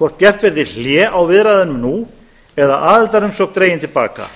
hvort gert verði hlé á viðræðunum nú eða aðildarumsókn dregin til baka